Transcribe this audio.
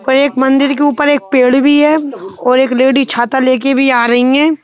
और एक मंदिर के ऊपर एक पेड़ भी है और एक लेडी छाता लेकर भी आ रही है।